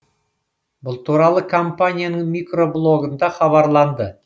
бұл туралы компанияның микроблогында хабарланды